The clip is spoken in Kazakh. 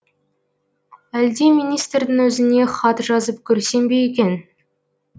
әлде министрдің өзіне хат жазып көрсем бе екен